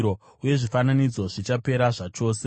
uye zvifananidzo zvichapera zvachose.